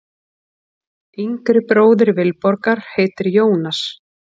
Yngri bróðir Vilborgar heitir Jónas.